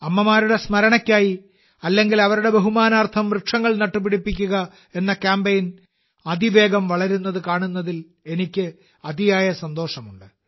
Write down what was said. അമ്മമാരുടെ സ്മരണയ്ക്കായി അല്ലെങ്കിൽ അവരുടെ ബഹുമാനാർത്ഥം വൃക്ഷങ്ങൾ നട്ടുപിടിപ്പിക്കുക എന്ന കാമ്പയിൻ അതിവേഗം വളരുന്നത് കാണുന്നതിൽ എനിക്ക് അതിയായ സന്തോഷമുണ്ട്